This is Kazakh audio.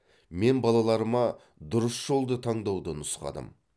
мен балаларыма дұрыс жолды таңдауды нұсқадым